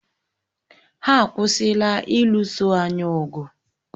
Ha akwụsịla ịlụso anyị ọgụ